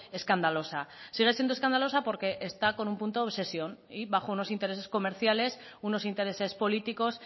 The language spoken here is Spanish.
escandalosa sigue siendo escandalosa porque está con un punto de obsesión y bajo unos intereses comerciales unos intereses políticos